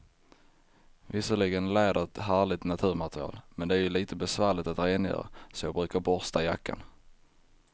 Visserligen är läder ett härligt naturmaterial, men det är lite besvärligt att rengöra, så jag brukar borsta jackan.